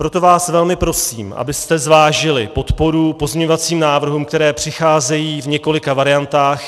Proto vás velmi prosím, abyste zvážili podporu pozměňovacím návrhům, které přicházejí v několika variantách.